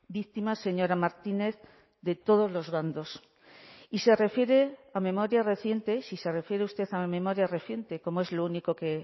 víctimas señora martínez de todos los bandos y se refiere a memoria reciente si se refiere usted a la memoria reciente como es lo único que